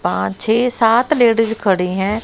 पांच छे सात लेडीज खड़ी हैं।